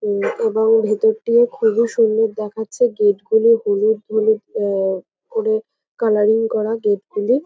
এবং ভেতরটি ও খুব সুন্দর দেখাচ্ছে। গেট গুলো হলুদ হলুদ অ্যা করে কালারিং করা গেট গুলি।